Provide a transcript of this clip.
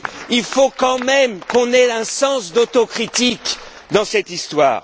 Il faut quand même qu'on ait un sens de l'autocritique dans cette histoire.